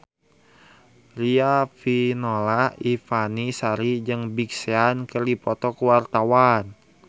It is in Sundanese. Riafinola Ifani Sari jeung Big Sean keur dipoto ku wartawan